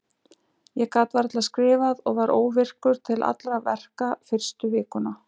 Ég gat varla skrifað og var óvirkur til allra verka fyrstu vikuna.